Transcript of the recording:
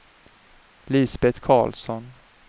Lisbet Karlsson